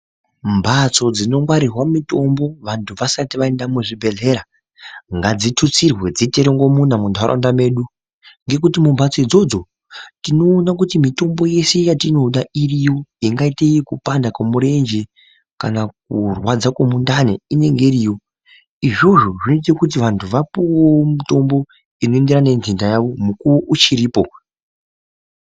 Mbatso dzinongwarirwa mitombo wandu wasati waenda muzvibhedhlera ngadzitutsirwe dziite murongomuna munharaunda medu ngekuti mbatso idzodzo tinoona kuti mitombo yeshe yatinoda irimwo, ingaite yekupanda kwemurenje, kana kurwadza kwemundani, inenge iriyo, izvozvo zvinoita kuti wandu wapuwe mutombo unoenderane nenhenda yawo mukuwo uchiripo.